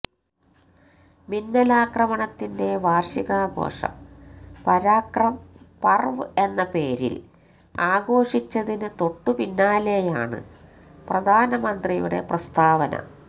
മിന്നലാക്രമണത്തിന്റെ വാര്ഷികാഘോഷം പരാക്രം പര്വ് എന്ന പേരില് ആഘോഷിച്ചതിന് തൊട്ടു പിന്നാലെയാണ് പ്രധാനമന്ത്രിയുടെ പ്രസ്താവന